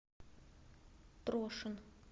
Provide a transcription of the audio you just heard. трошин